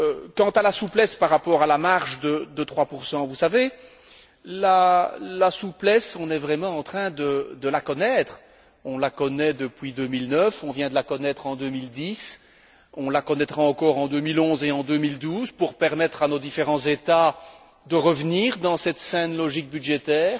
Quant à la souplesse par rapport à la marge de 3 vous savez, la souplesse, on est vraiment en train de la connaître, on la connaît depuis 2009, on vient de la connaître en 2010, on la connaîtra encore en 2011 et en 2012 pour permettre à nos différents États de revenir dans cette saine logique budgétaire